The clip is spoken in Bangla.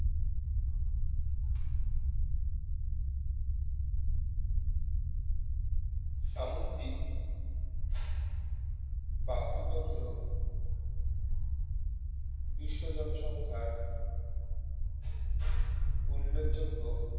সামুদ্রিক বাস্তুতন্ত্র বিশ্ব জনসংখ্যার উল্লেখযোগ্য